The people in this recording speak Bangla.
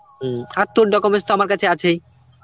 হম. আর তোর documents তো আমার কাছে আছেই